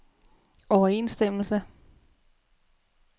overensstemmelse